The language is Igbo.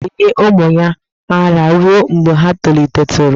Ehi ga-enye ụmụ ya ara ruo mgbe ha tolitetụrụ.